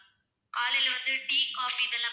காலைல வந்து tea, coffee இதெல்லாம்